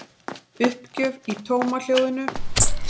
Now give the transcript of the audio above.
Uppgjöf í tómahljóðinu.